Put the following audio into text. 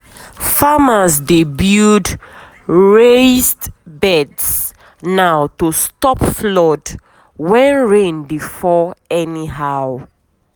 we use cement strong our um water tank make um e no leak when rain water full am.